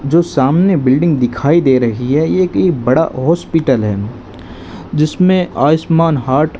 जो सामने बिल्डिंग दिखाई दे रही है ये एक बड़ा हॉस्पिटल है जिसमें आयुष्मान हार्ट --